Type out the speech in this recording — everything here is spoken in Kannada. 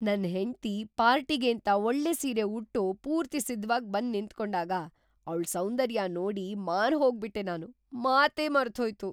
ನನ್ನ ಹೆಂಡ್ತಿ ಪಾರ್ಟಿಗೇಂತ ಒಳ್ಳೆ ಸೀರೆ ಉಟ್ಟು ಪೂರ್ತಿ ಸಿದ್ಧವಾಗ್‌ ಬಂದ್‌ ನಿಂತ್ಕೊಂಡಾಗ ಅವ್ಳ್ ಸೌಂದರ್ಯ ನೋಡಿ ಮಾರ್ಹೋಗ್ಬಿಟ್ಟೆ ನಾನು, ಮಾತೇ ಮರ್ತ್ಹೋಯ್ತು!